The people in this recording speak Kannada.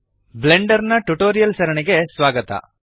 ಬ್ಲೆಂಡರ್ ನ ಟ್ಯುಟೋರಿಯಲ್ಸ್ ಸರಣಿಗೆ ಸ್ವಾಗತ